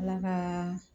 Ala ka